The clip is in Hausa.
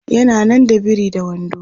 yana nan da biri da wando